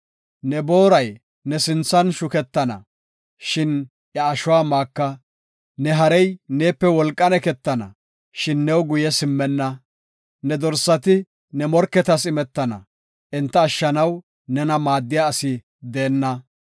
Ne booray ne sinthan shuketana, shin iya ashuwa maaka. Ne harey neepe wolqan eketana, shin new guye simmenna. Ne dorsati ne morketas imetana, enta ashshanaw nena maaddiya asi deenna.